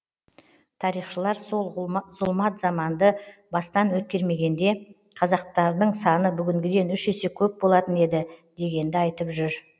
тарихшылар сол зұлмат заманды бастан өткермегенде қазақтардың саны бүгінгіден үш есе көп болатын еді дегенді айтып жүр